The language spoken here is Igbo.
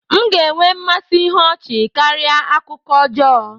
M ga-enwe mmasị ihe ọchị karịa akụkọ ọjọọ